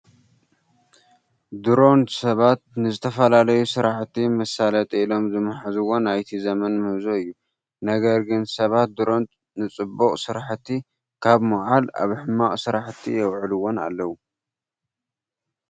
ድሮን ሰባት ንዝተፈላለዩ ስራሕቲ መሳለጢ ኢሎም ዝመሓዝዎ ናይዚ ዘመን ምህዞ እዩ። ነገር ግን ሰባት ድሮን ንፅቡቅ ስራሕቲ ካብ ምውዓል ኣብ ሕማቅ ስራሕቲ የውዕሉዎም ኣለው።